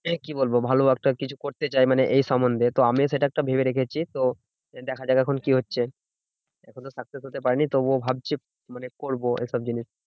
কি বলবো? ভালো একটা কিছু করতে চাই মানে এই সম্বন্ধে। তো আমিও সেটা একটা ভেবে রেখেছি। তো দেখা যাক এখন কি হচ্ছে? এখনো success হতে পারিনি। তবুও ভাবছি মানে করবো এসব জিনিস।